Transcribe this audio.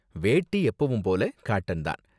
வேட்டி எப்போவும் போல காட்டன் தான்.